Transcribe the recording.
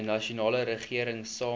nasionale regering saamwerk